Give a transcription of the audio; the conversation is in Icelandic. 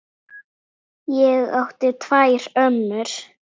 Ég átti tvær ömmur.